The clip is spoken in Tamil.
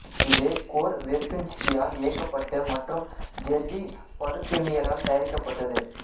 இது கோர் வெர்பின்ஷ்கியால் இயக்கப்பட்டு மற்றும் ஜெர்ரி பருகெமியரால் தயாரிக்கப்பட்டது